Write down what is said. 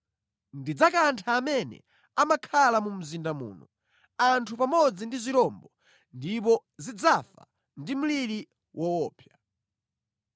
Ndidzakantha amene amakhala mu mzinda muno, anthu pamodzi ndi zirombo, ndipo zidzafa ndi mliri woopsa.